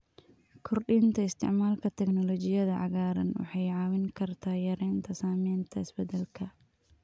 Kordhinta isticmaalka teknoolojiyada cagaaran waxay caawin kartaa yareynta saamaynta isbedelka.